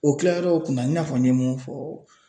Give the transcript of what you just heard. O kilayɔrɔ kunna i n'a fɔ n ye mun fɔ.